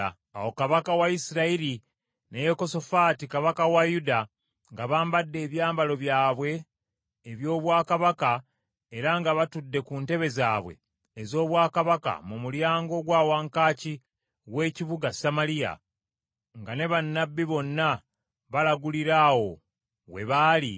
Awo Kabaka wa Isirayiri ne Yekosafaati kabaka wa Yuda nga bambadde ebyambalo byabwe eby’obwakabaka era nga batudde ku ntebe zaabwe ez’obwakabaka mu mulyango ogwa wankaaki w’ekibuga Samaliya, nga ne bannabbi bonna balagulira awo we baali;